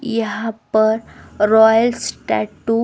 यहां पर royals tattoo --